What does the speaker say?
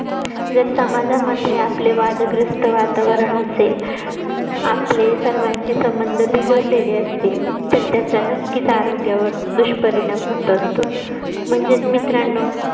जर समाजामध्ये आपले वादग्रस्त वातावरण असेल आपले सर्वांशी संबंध बिघडलेले असतील तर त्याचा नक्कीच आरोग्यावर दुष्परिणाम होत असतो म्हणजेच मित्रांनो